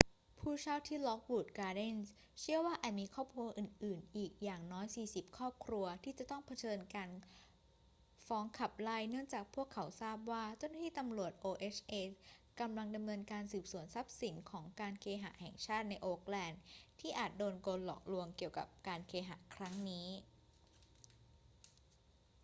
ผู้เช่าที่ lockwood gardens เชื่อว่าอาจมีครอบครัวอื่น ๆ อีกอย่างน้อย 40 ครอบครัวที่จะต้องเผชิญกับการฟ้องขับไล่ เนื่องจากพวกเขาทราบว่าเจ้าหน้าที่ตำรวจ oha กำลังดำเนินการสืบสวนทรัพย์สินของการเคหะแห่งชาติในโอ๊กแลนด์ที่อาจโดนกลหลอกลวงเกี่ยวกับการเคหะครั้งนี้